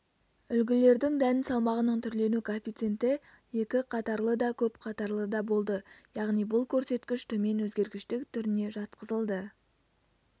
үлгілердің дән салмағының түрлену коэффициенті екі қатарлыда көп қатарлыда болды яғни бұл көрсеткіш төмен өзгергіштік түріне жатқызылды